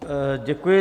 Děkuji.